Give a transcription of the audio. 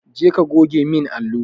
Je ka goge min allo!